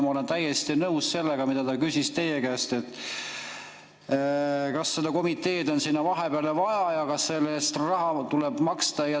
Ma olen täiesti nõus sellega, mida ta küsis teie käest, kas seda komiteed on sinna vahepeale vaja ja kas selle eest raha tuleb maksta.